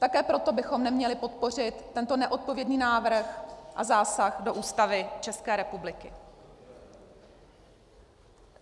Také proto bychom neměli podpořit tento neodpovědný návrh a zásah do Ústavy České republiky.